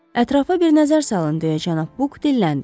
Ətrafa bir nəzər salın deyə cənab Book dilləndi.